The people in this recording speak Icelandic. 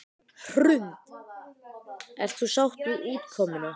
Hrund: Ert þú sátt við útkomuna?